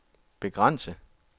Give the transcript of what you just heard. begrænse